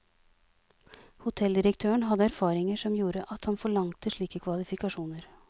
Hotelldirektøren hadde erfaringer som gjorde at han forlangte slike kvalifikasjoner.